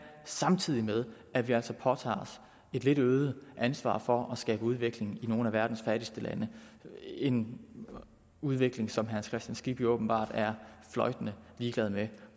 samtidig med at vi altså påtager os et lidt øget ansvar for at skabe udvikling i nogle af verdens fattigste lande en udvikling som herre hans kristian skibby åbenbart er fløjtende ligeglad med